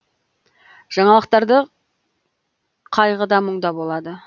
жаңалықтарда қайғы да мұң да болады